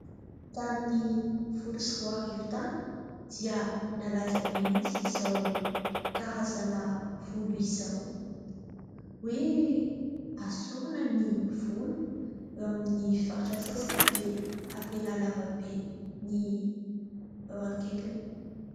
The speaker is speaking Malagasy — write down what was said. Tamin'ny folo sy roarivo tany dia nalaza be mihitsy izao karazana volo izao hoe esorina ny volo eo amin'ny faritra sasany dia avela lava be ny eo akaikiny.